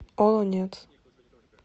олонец